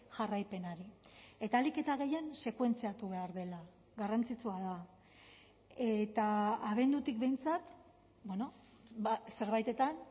jarraipenari eta ahalik eta gehien sekuentziatu behar dela garrantzitsua da eta abendutik behintzat zerbaitetan